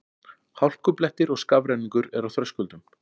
Hálkublettir og skafrenningur er á Þröskuldum